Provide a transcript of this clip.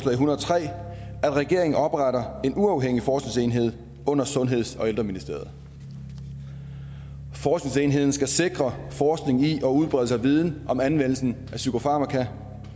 hundrede og tre at regeringen opretter en uafhængig forskningsenhed under sundheds og ældreministeriet forskningsenheden skal sikre forskning i og udbredelse af viden om anvendelsen af psykofarmaka